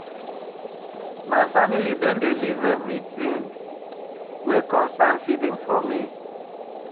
My family don leave everytin wey concern feeding for me.